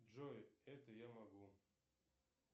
джой это я могу